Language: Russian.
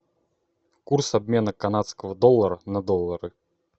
курс обмена канадского доллара на доллары